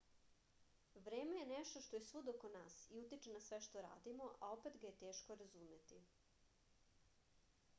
vreme je nešto što je svud oko nas i utiče na sve što radimo a opet ga je teško razumeti